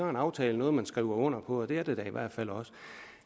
en aftale noget man skriver under på og det er det da i hvert fald også